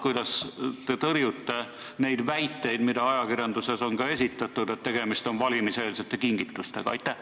Kuidas te tõrjute neid ajakirjanduses esitatud väiteid, et tegemist on valimiseelsete kingitustega?